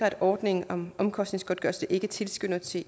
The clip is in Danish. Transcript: at ordningen om omkostningsgodtgørelse ikke tilskynder til